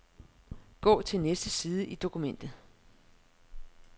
Gå til næste side i dokumentet.